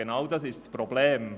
Genau das ist das Problem.